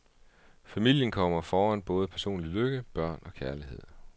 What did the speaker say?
Familien kommer foran både personlig lykke, børn og kærlighed.